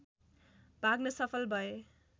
भाग्न सफल भए